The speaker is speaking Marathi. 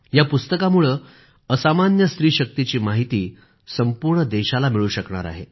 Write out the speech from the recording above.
या पुस्तकामुळं असामान्य स्त्री शक्तीची माहिती संपूर्ण देशाला मिळू शकणार आहे